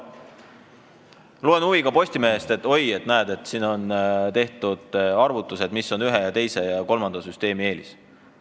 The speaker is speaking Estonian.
Ma loen huviga Postimehest, et oi, näe, on tehtud arvutused, mis on ühe ja teise ja kolmanda süsteemi eelis.